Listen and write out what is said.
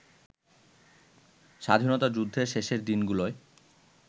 স্বাধীনতা যুদ্ধের শেষের দিনগুলোয়